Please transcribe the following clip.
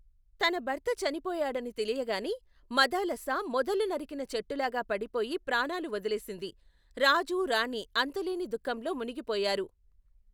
తన భర్త చనిపోయడని తెలియగానే, మదాలస మొదలు నరికిన చెట్టులాగా పడిపోయి ప్రాణాలు వదిలేసింది, రాజు రాణీ అంతులేని ధుఃఖంలో మునిగిపోయారు.